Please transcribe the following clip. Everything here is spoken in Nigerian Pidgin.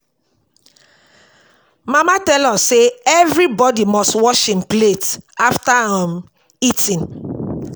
Mama tell us say everybodi must wash im plate after um eating.